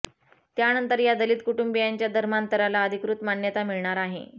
त्यानंतर या दलित कुटुंबीयांच्या धर्मांतराला अधिकृत मान्यता मिळणार आहे